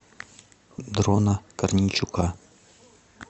дрона корнейчука